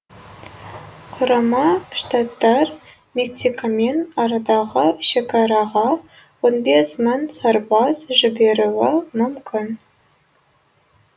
құрама штаттар мексикамен арадағы шекараға он бес мың сарбаз жіберуі мүмкін